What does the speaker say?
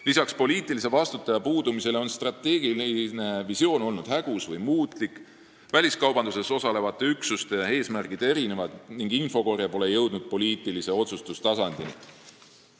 Lisaks poliitilise vastutaja puudumisele on strateegiline visioon olnud hägus või muutlik, väliskaubanduses osalevate üksuste eesmärgid erinevad ning infokorje pole jõudnud poliitilise otsustustasandini.